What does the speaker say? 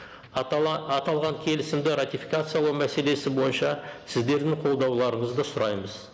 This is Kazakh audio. аталған келісімді ратификациялау мәселесі бойынша сіздердің қолдауларыңызды сұраймыз